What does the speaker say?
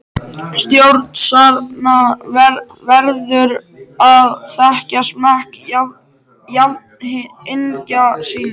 Stórstjarna verður að þekkja smekk jafningja sinna.